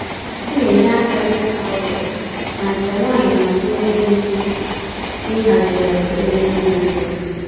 Ọ na-enye aka n’ịsa ụlọ, ma nke nwaanyị n'abụ onye ndu n’ịhazigharị emume ezinụlọ.